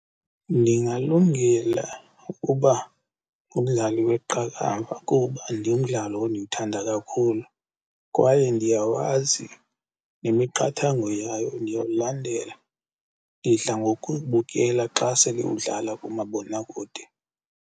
Ndingalungela ukuba ngumdlali weqakamba kuba ndimdlalo endiwuthanda kakhulu kwaye ndiyawazi, nemiqathango yayo ndiyawulandela. Ndidla ngokubukela xa sele udlala kumabonakude.